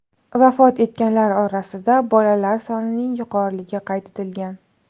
Vafot etganlar orasida bolalar sonining yuqoriligi qayd etilgan.